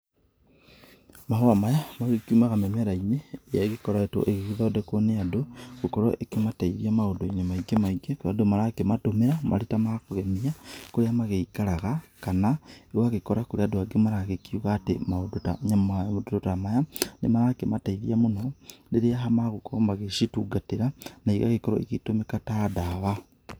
Mahua maya magĩkiumaga mĩmera-inĩ ĩrĩa ĩgĩkoretwo ĩgĩgĩthondekwo nĩ andũ, gũkorwo ĩkĩmateithia maũndũ-inĩ maingĩ maingĩ. Tondũ marakimatũmĩra marĩ ta ma kũgemia, kũrĩa magĩikaraga, kana ũgagĩkora kũrĩ andũ andgĩ marakiuga atĩ maũndũ ta maya nĩmarakimatethia mũno rĩrĩa magũkorwo magĩcitungatĩra na igagĩkorwo igĩtũmĩka ta ndawa.